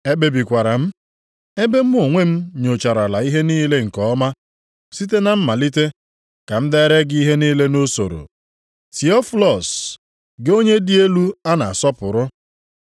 Ekpebikwara m, ebe mụ onwe m nyocharala ihe niile nke ọma site na mmalite, ka m dere gị ihe niile nʼusoro, Tiofilọs, gị onye dị elu a na-asọpụrụ.